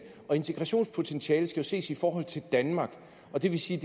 og integrationspotentialet skal jo ses i forhold til danmark og det vil sige